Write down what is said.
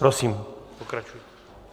Prosím, pokračujte.